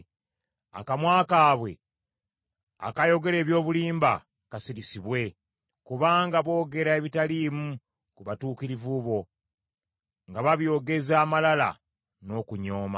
Akamwa kaabwe akayogera eby’obulimba kasirisibwe, kubanga boogera ebitaliimu ku batuukirivu bo, nga babyogeza amalala n’okunyooma.